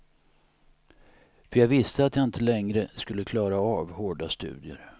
För jag visste att jag inte längre skulle klara av hårda studier.